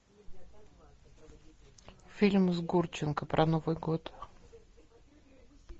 фильм с гурченко про новый год